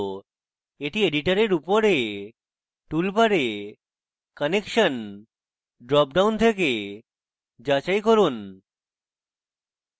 এটি editor উপরে toolbar connection drop down থেকে যাচাই করুন